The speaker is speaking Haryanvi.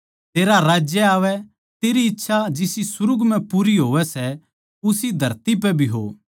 तेरा राज्य आवै तेरी मर्जी जिसी सुर्ग म्ह पूरी होवै सै उसी धरती पै भी हो